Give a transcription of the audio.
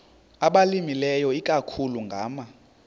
abalimileyo ikakhulu ngama